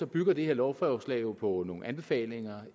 bygger det her lovforslag jo på nogle anbefalinger